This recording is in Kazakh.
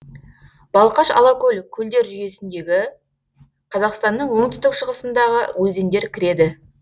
балқаш алакөл көлдер жүйесіндегі қазақстанның оңтүстік шығысындағы өзендер кіреді